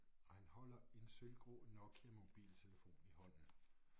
Og han holder en sølvgrå Nokia-mobiltelefon i hånden